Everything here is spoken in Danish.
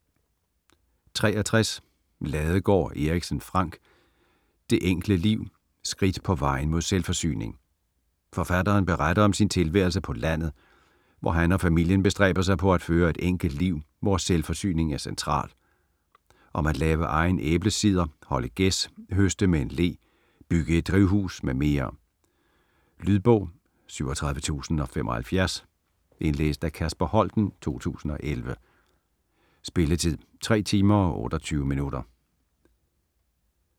63 Ladegaard Erichsen, Frank: Det enkle liv: skridt på vejen mod selvforsyning Forfatteren beretter om sin tilværelse på landet, hvor han og familien bestræber sig på at føre et enkelt liv, hvor selvforsyning er central. Om at lave egen æblecider, holde gæs, høste med en le, bygge et drivhus mm. Lydbog 37075 Indlæst af Kasper Holten, 2011. Spilletid: 3 timer, 28 minutter.